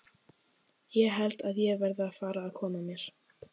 Ég held að ég verði að fara að koma mér.